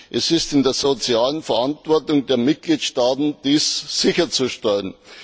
Es liegt in der sozialen Verantwortung der Mitgliedstaaten, dies sicherzustellen.